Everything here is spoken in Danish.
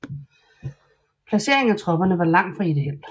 Placeringen af tropperne var langt fra ideel